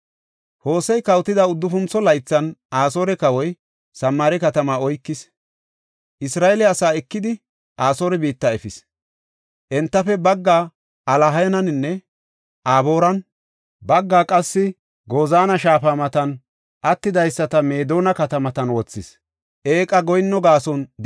Hosey kawotida uddufuntho laythan Asoore kawoy Samaare katama oykis; Isra7eele asaa ekidi, Asoore biitta efis. Entafe baggaa Alahaninne Abooran, baggaa qassi Gozaana shaafa matan, attidaysata Meedona katamatan wothis.